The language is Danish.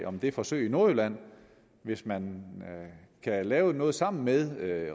om det forsøg i nordjylland hvis man kan lave noget sammen med